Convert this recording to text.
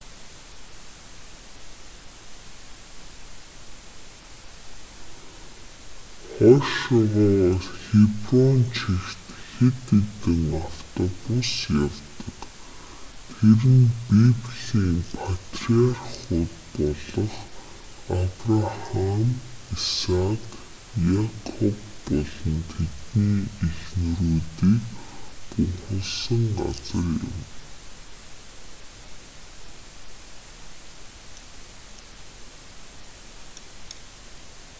хойшоогоо хеброн чигт хэд хэдэн автобус явдаг тэр нь библийн патриархууд болох абрахам исаак якоб болон тэдний эхнэрүүдийг бунхалсан газар юм